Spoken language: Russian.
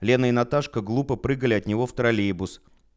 лена и наташка глупо прыгали от него в троллейбус